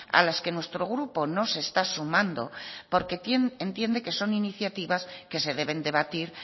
a las que nuestro grupo no se está sumando porque entiende que son iniciativas que se deben debatir